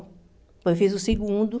Depois fiz o segundo.